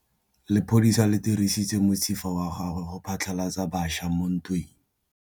Lepodisa le dirisitse mosifa wa gagwe go phatlalatsa batšha mo ntweng.